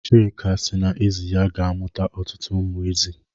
Chika si na ezi ya ga-amụ ọtụtụ ụmụ ezi